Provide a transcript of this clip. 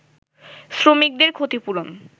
শ্রমিকদের ক্ষতিপূরণ